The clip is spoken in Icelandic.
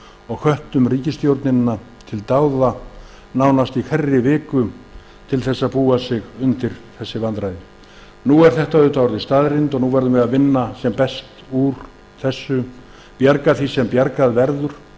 og hvöttum ríkisstjórnina til dáða nánast í hverri viku til þess að búa sig undir þessi vandræði nú eru þau orðin staðreynd og við verðum að vinna sem best úr því bjarga því sem bjargað verður